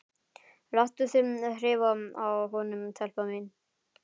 Láttu mig þreifa á honum, telpa mín.